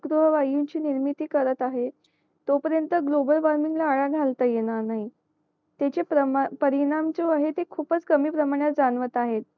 हरिगृह वायूंची निर्मिती करत आहे तो पर्यंत ग्लोमेल वॉर्मिंग ला आळा घालता येणार नाही त्याने प्रमाण परिणाम जो आहे ते खूपच कमी प्रमाणात जाणवत आहे